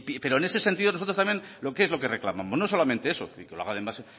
pero en sentido nosotros también qué es lo que reclamamos no solamente eso y